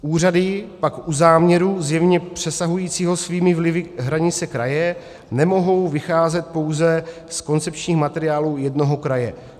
Úřady pak u záměru zjevně přesahujícího svými vlivy hranice kraje nemohou vycházet pouze z koncepčních materiálů jednoho kraje.